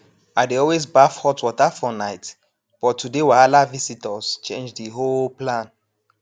i dey always baff hot water for night but today wahala visitors change the whole plan